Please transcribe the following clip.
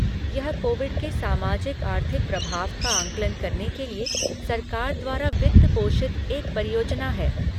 यह कोविड के सामाजिक आर्थिक प्रभाव का आंकलन करने के लिए सरकार द्वारा वित्त पोषित एक परियोजना है।